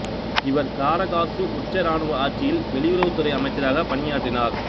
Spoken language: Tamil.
இவர் காரகாசு உச்ச இராணுவ ஆட்சியில் வெளியுறவுத்துறை அமைச்சராகப் பணியாற்றினார்